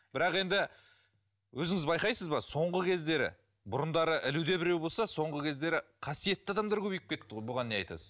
бірақ енді өзіңіз байқайсыз ба соңғы кездері бұрындары ілуде біреу болса соңғы кездері қасиетті адамдар көбейіп кетті ғой бұған не айтасыз